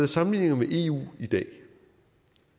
sammenligninger med eu i dag